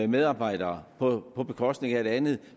medarbejdere på bekostning af det andet